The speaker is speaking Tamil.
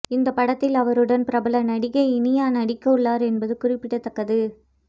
இந்தப் படத்தில் அவருடன் பிரபல நடிகை இனியா நடிக்க உள்ளார் என்பது குறிப்பிடத்தக்கது